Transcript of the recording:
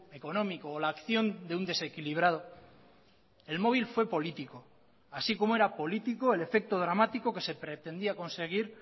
económico o la acción de un desequilibrado el móvil fue político así como era político el efecto dramático que se pretendía conseguir